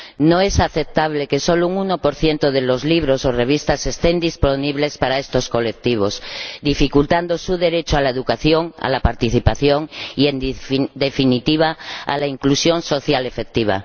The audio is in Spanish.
No es aceptable que solo un 1 de los libros o revistas estén disponibles para estos colectivos, dificultando su derecho a la educación, a la participación y, en definitiva, a la inclusión social efectiva.